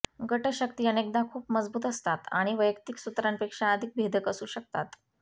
गट शक्ती अनेकदा खूप मजबूत असतात आणि वैयक्तिक सत्रांपेक्षा अधिक भेदक असू शकतात